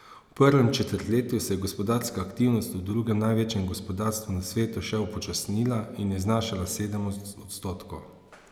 V prvem četrtletju se je gospodarska aktivnost v drugem največjem gospodarstvu na svetu še upočasnila in je znašala sedem odstotkov.